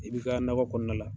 I bi ka nakɔ kɔnɔna la.